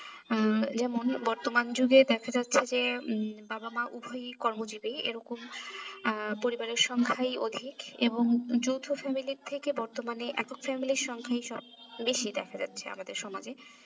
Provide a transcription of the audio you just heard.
উম যেমন বর্তমান যুগে দেখা যাচ্ছে যে বাবা মা উভয়ই কর্মজিবি এরকম আহ পরিবারের সংখ্যাই অধিক এবং যৌথ family র থেকে বর্তমানে একক family র সংখ্যাই সব বেশি দেখা যাচ্ছে আমাদের সমাজে